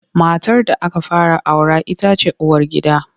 Matar da aka fara aura ita ce uwargida.